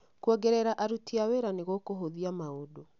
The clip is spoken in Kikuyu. Kuongerera aruti a wĩra nĩ gũkũhũthia maũndũ